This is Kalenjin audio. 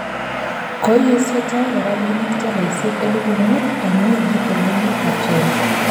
Koesio Toure rapinik tolaisiek elipu muut en wikit en emet ab China